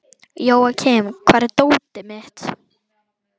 Jóakim, hvar er dótið mitt?